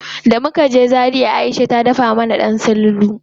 Da muka je Zaria Aisha ta dafa mana ɗan sululu.